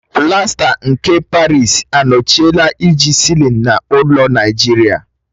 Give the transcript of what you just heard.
Plaster nke Parịsi anọchiela iji sịlin n'ụlọ Naijiria.